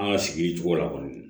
An ka sigi cogo la kɔni